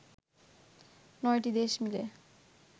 ৯টি দেশ মিলে